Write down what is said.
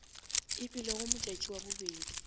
e bilego modjadji wa bobedi